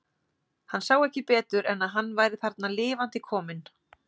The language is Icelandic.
Hann sá ekki betur en að hann væri þarna lifandi kominn.